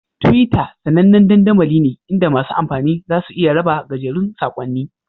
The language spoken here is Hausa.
Twitter sAnannen dandamali ne inda masu amfani za su iya raba gajerun saƙonni